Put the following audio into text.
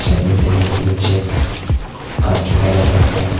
side में table के नीचे वाला तख्ता--